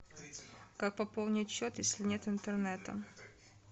как пополнить счет если нет интернета